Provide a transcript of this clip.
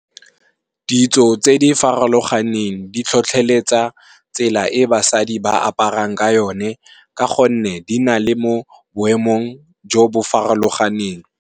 Ditso tse di farologaneng di tlhotlheletsa tsela e basadi ba aparang ka yone ka gonne di na le mo boemong jo bo farologaneng.